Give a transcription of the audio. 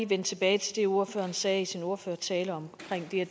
vende tilbage til det ordføreren sagde i sin ordførertale om